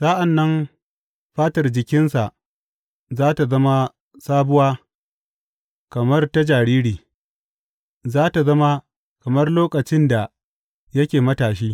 Sa’an nan fatar jikinsa za tă zama sabuwa kamar ta jariri; za tă zama kamar lokacin da yake matashi.